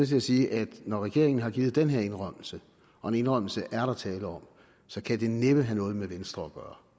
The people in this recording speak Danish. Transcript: til at sige at når regeringen har givet den her indrømmelse og en indrømmelse er der tale om så kan det næppe have noget med venstre